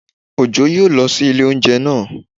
Ojo yóò lọ sí ilé óúnjẹ naa